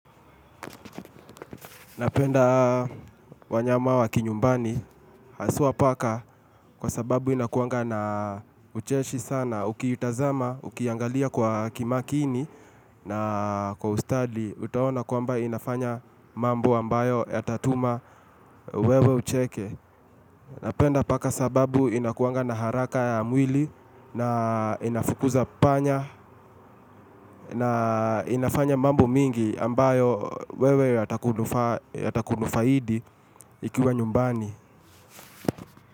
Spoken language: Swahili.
Napenda wanyama wa kinyumbani, haswa paka kwa sababu inakuwanga na ucheshi sana, uki itazama, ukiangalia kwa kimakini na kwa ustadi, utaona kwamba inafanya mambo ambayo ya tatuma wewe ucheke. Napenda paka sababu inakuanga na haraka ya mwili na inafukuza panya na inafanya mambo mingi ambayo wewe yatakunufaidi ikiwa nyumbani.